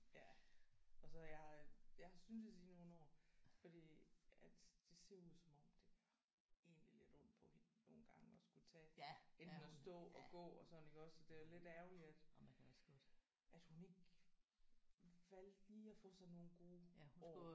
Ja og så jeg har jeg har syntes i nogle år fordi at det ser ud som om det gør egentlig lidt ondt på hende nogle gange at skulle tage enten at stå og gå og sådan iggås og det er lidt ærgerligt at at hun ikke valgte lige at få sig nogle gode år